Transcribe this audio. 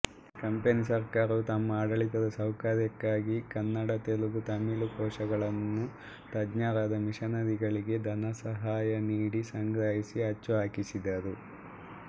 company ಸರಕಾರವು ತಮ್ಮ ಆಡಳಿತದ ಸೌಕರ್ಯಕ್ಕಾಗಿ ಕನ್ನಡ ತೆಲುಗು ತಮಿಳು ಕೋಶಗಳನ್ನು ತಜ್ಞರಾದ ಮಿಶನರಿಗಳಿಗೆ ಧನಸಹಾಯ ನೀಡಿ ಸಂಗ್ರಹಿಸಿ ಅಚ್ಚುಹಾಕಿಸಿದರು